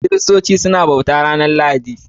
Kiristoci suna bauta a'ranan Lahadi.